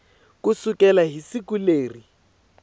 ku sukela hi siku leri